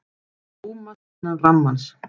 Rúmast innan rammans